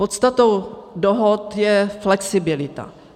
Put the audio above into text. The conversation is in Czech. Podstatou dohod je flexibilita.